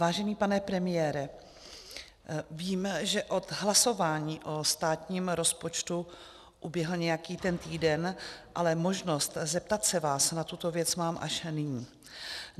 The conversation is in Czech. Vážený pane premiére, vím, že od hlasování o státním rozpočtu uběhl nějaký ten týden, ale možnost zeptat se vás na tuto věc mám až nyní.